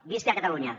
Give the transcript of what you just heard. visca catalunya